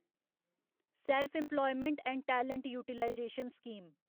self employment and talent utilisation scheme